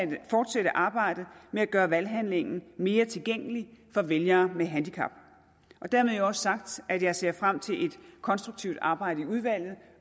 vil fortsætte arbejdet med at gøre valghandlingen mere tilgængelig for vælgere med handicap dermed jo også sagt at jeg ser frem til et konstruktivt arbejde i udvalget